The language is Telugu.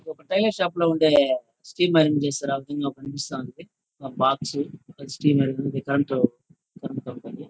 ఒక టైలర్ షాప్ లో ఉండే కనిపిస్తా ఉంది. ఒక బాక్స్ ఒక స్టీమర్ దాంట్లో ]